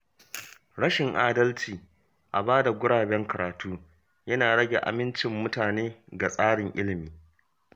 Rashin adalci a bada guraben karatu yana rage amincin mutane ga tsarin ilimi.